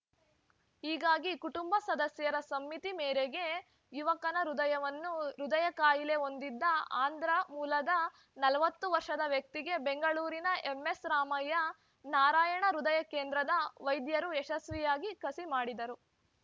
ಹೀಗಾಗಿ ಕುಟುಂಬ ಸದಸ್ಯರ ಸಮ್ಮತಿ ಮೇರೆಗೆ ಯುವಕನ ಹೃದಯವನ್ನು ಹೃದಯ ಕಾಯಿಲೆ ಹೊಂದಿದ್ದ ಆಂಧ್ರ ಮೂಲದ ನಲವತ್ತು ವರ್ಷದ ವ್ಯಕ್ತಿಗೆ ಬೆಂಗಳೂರಿನ ಎಂಎಸ್‌ರಾಮಯ್ಯ ನಾರಾಯಣ ಹೃದಯ ಕೇಂದ್ರದ ವೈದ್ಯರು ಯಶಸ್ವಿಯಾಗಿ ಕಸಿ ಮಾಡಿದರು